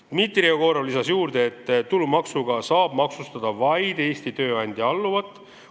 Dmitri Jegorov lisas juurde, et tulumaksuga saab maksustada vaid Eesti tööandja alluvat.